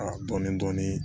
dɔɔnin dɔɔnin